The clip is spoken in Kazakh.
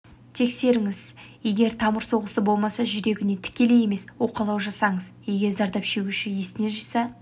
тексеріңіз егер тамыр соғысы болмаса жүрегіне тікелей емес уқалау жасаңыз егер зардап шегуші есін жиса